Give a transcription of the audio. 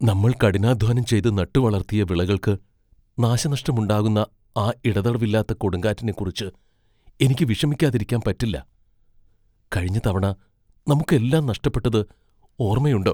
നമ്മൾ കഠിനാധ്വാനം ചെയ്ത് നട്ടുവളർത്തിയ വിളകൾക്ക് നാശനഷ്ടമുണ്ടാകുന്ന ആ ഇടതടവില്ലാത്ത കൊടുങ്കാറ്റിനെക്കുറിച്ച് എനിക്ക് വിഷമിക്കാതിരിക്കാൻ പറ്റില്ല. കഴിഞ്ഞ തവണ നമുക്ക് എല്ലാം നഷ്ടപ്പെട്ടത് ഓർമ്മയുണ്ടോ?